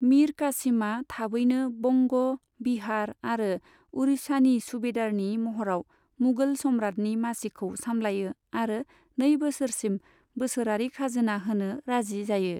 मिर कासिमा थाबैनो बंग', बिहार आरो उरिछानि सुबेदारनि महराव मुगल सम्रातनि मासिखौ सामलायो आरो नै बोसोरसिम बोसोरारि खाजोना होनो राजि जायो।